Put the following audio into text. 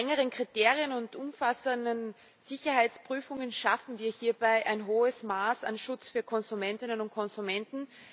Mit strengeren Kriterien und umfassenden Sicherheitsprüfungen schaffen wir hierbei ein hohes Maß an Schutz für Konsumentinnen und Konsumenten.